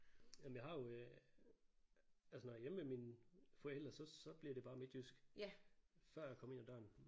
Jamen jeg har jo øh altså når jeg er hjemme ved mine forældre så så bliver det bare midtjysk før jeg kommer ind ad døren